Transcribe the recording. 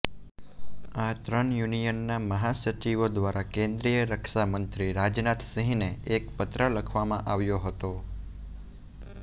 આ ત્રણ યુનિયનના મહાસચિવો દ્વારા કેન્દ્રીય રક્ષામંત્રી રાજનાથ સિંહને એક પત્ર લખવામાં આવ્યો હતો